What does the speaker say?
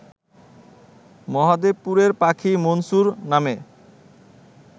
মহাদেবপুরের পাখি মনসুর নামে